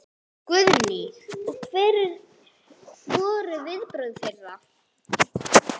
Guðný: Og hver voru viðbrögð þeirra?